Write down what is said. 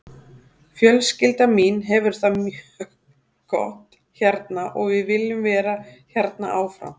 Fjölskyldan mín hefur það mjög gott hérna og við viljum vera hérna áfram.